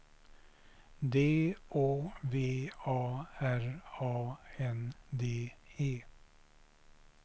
D Å V A R A N D E